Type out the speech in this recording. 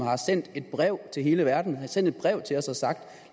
har sendt et brev til hele verden har sendt et brev til os og sagt